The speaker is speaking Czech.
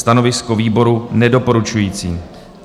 Stanovisko výboru: nedoporučující.